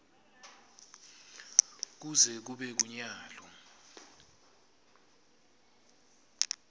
kuze kube kunyalo